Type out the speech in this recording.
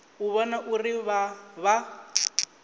u vhona uri vha vha